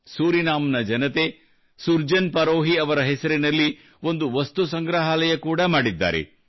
Suriname ನ ಜನತೆ ಸುರ್ಜನ್ ಪರೋಹಿ ಅವರ ಹೆಸರಿನಲ್ಲಿ ಒಂದು ವಸ್ತು ಸಂಗ್ರಹಾಲಯ ಕೂಡಾ ಮಾಡಿದ್ದಾರೆ